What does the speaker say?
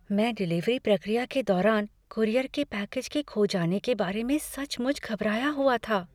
मैं डिलीवरी प्रक्रिया के दौरान कूरियर के पैकेज के खो जाने के बारे में सचमुच घबराया हुआ था।